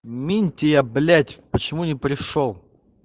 минтия блять почему не пришёл